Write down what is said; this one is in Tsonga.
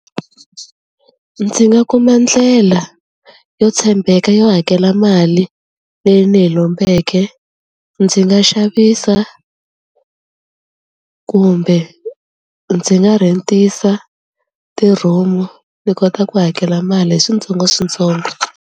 Ndzi nga kuma ndlela yo tshembeka yo hakela mali leyi ni yi lombeke, ndzi nga xavisa kumbe ndzi nga rhentisa ti-room-u ni kota ku hakela mali hi switsongoswitsongo.